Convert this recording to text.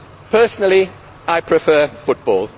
Personally, I prefer football.